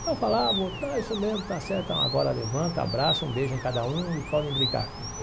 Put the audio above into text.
Então falavam não é isso mesmo, está certo, então agora levanta, abraça, um beijo em cada um e podem brincar.